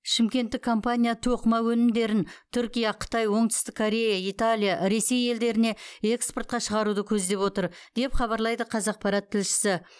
шымкенттік компания тоқыма өнімдерін түркия қытай оңтүстік корея италия ресей елдеріне экспортқа шығаруды көздеп отыр деп хабарлайды қазақпарат тілшісі